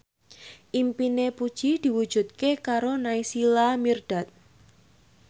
impine Puji diwujudke karo Naysila Mirdad